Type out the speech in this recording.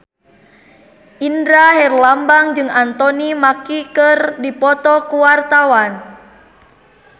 Indra Herlambang jeung Anthony Mackie keur dipoto ku wartawan